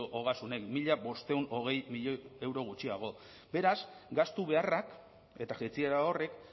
ogasunek mila bostehun eta hogei milioi euro gutxiago beraz gastu beharrak eta jaitsiera horrek